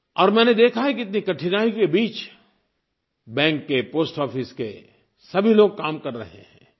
और मैंने देखा है कि इतनी कठिनाइयों के बीच बैंक के पोस्ट ऑफिस के सभी लोग काम कर रहे हैं